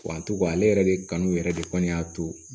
Kurantu ka ale yɛrɛ de kanu yɛrɛ de kɔni y'a to